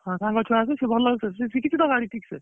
ହଁ ସାଙ୍ଗ ଛୁଆ ଆସିକି ସିଏ ଭଲ ସିଏ ଶିଖିଛି ତ ଗାଡି ଠିକ ସେ?